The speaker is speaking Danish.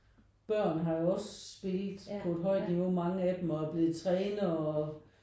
Børn har jo også spillet på et højt niveau mange af dem og er blevet trænere og